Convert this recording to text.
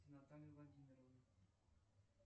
наталья владимировна